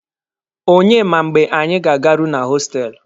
Onye ma mgbe anyi ga-agaru na hostelụ.